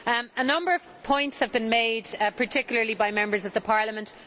A number of points have been made, particularly by the Members of Parliament.